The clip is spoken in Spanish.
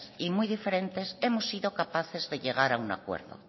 y muy diferentes hemos sido capaces de llegar a un acuerdo